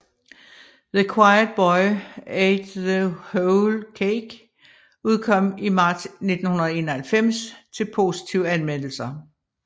The Quiet Boy Ate the Whole Cake udkom i marts 1991 til positive anmeldelser